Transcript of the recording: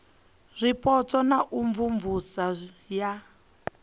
zwipotso na u imvumvusa ya